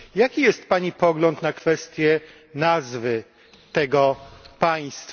Jaki jest pani pogląd na kwestię nazwy tego państwa?